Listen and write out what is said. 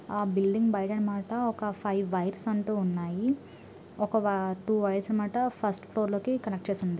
ఆ బిల్డింగ్ బయట అనమాట ఒక ఫైవ్ వేయిరెస్ అంటూ ఉన్నాయి . ఒక టూ వేయిరెస్ ఫస్ట్ ఫ్లోర్ లోకి కనెక్ట్ చేసి ఉంది .